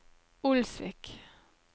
Olsvik